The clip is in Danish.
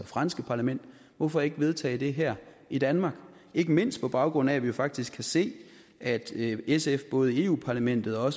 franske parlament hvorfor ikke vedtage det her i danmark ikke mindst på baggrund af at vi jo faktisk kan se at sf både i europa parlamentet og